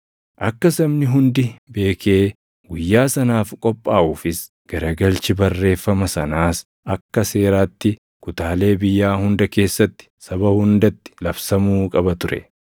Akka sabni hundi beekee guyyaa sanaaf qophaaʼuufis garagalchi barreeffama sanaas akka seeraatti kutaalee biyyaa hunda keessatti saba hundatti labsamuu qaba ture.